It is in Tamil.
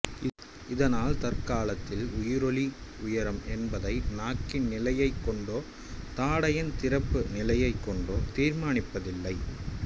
இதனால் தற்காலத்தில் உயிரொலி உயரம் என்பதை நாக்கின் நிலையைக் கொண்டோ தாடையின் திறப்பு நிலையைக் கொண்டோ தீர்மானிப்பது இல்லை